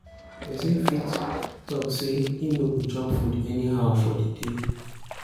persin fit talk say im no go chop food anyhow for di day